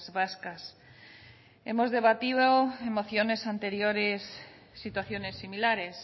vascas hemos debatido en mociones anteriores situaciones similares